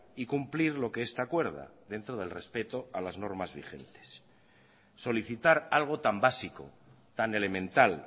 y cumplir lo que esta acuerda dentro del respeto a las normas vigentes solicitar algo tan básico tan elemental